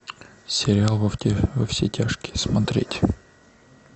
сериал во все тяжкие смотреть